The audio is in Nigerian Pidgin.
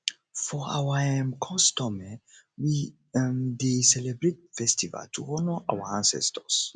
for our um custom we um dey celebrate festival to honour our ancestors